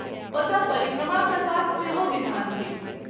ओतय परिक्रमा करबाक सेहो विधान थिक।